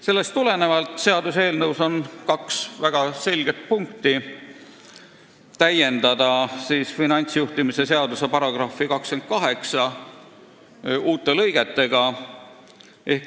Sellest tulenevalt on seaduseelnõus kaks väga selget punkti, tuleb täiendada finantsjuhtimise seaduse § 28 uute lõigetega.